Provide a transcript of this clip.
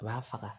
A b'a faga